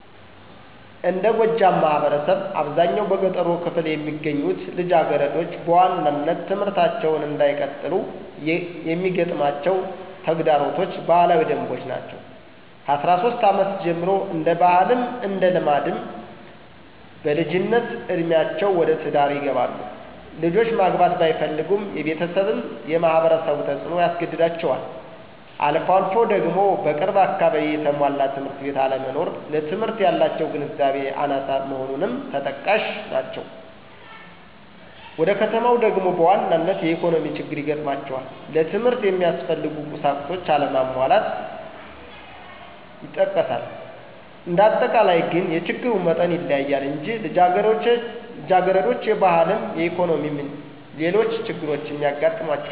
እንደ ጎጃም ማህበረሰብ አብዛኛው በገጠሩ ክፍል የሚገኙት ልጃገረዶች በዋናነት ትምህርታቸውን እንዳይቀጥሉ የሚገጥማቸው ተግዳሮቶች ባህላዊ ደንቦች ናቸው። ከአስራ ሶስት አመት ጀምሮ እንደ ባህልም እንደ ልማድም በልጅነት እዴሜአቸው ወደ ትዳር ይገባሉ። ልጆች ማግባት ባይፈልጉም የቤተሰብም የማህበረሰቡ ተፅኖ ያስገድዳቸዋል። አልፎ አልፎ ደግሞ በቅርብ አካባቢ የተሟላ ትምህርት ቤት አለመኖር ለትምህርት ያላቸው ግንዛቤ አናሳ መሆንም ተጠቃሽ ናቸው። ወደ ከተማው ደግሞ በዋናነት የኢኮኖሚ ችግር ይገጥማቸዋል ለትምህርት የሚያስፈልጉ ቁሳቁሶች አለመሟላት ይጠቀሳል። እንዳጠቃላይ ግን የችግሩ መጠን ይለያያል እንጂ ልጃገረዶች የባህልም የኢኮኖሚም ሌሎች ችግሮችም ይገጥሟቸዋል።